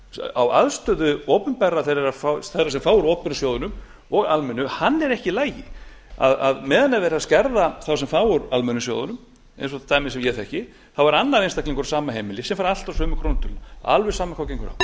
á aðstöðu þeirra sem fá úr opinberu sjóðunum og almennu er ekki í lagi meðan verið er að skerða þá sem fá úr almennu sjóðunum eins og dæmin sem ég þekki þá er annar einstaklingur sama heimilis sem fær alltaf sömu krónutöluna alveg sama hvað gengur